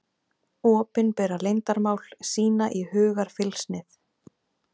Opinbera leyndarmál, sýna í hugarfylgsnið.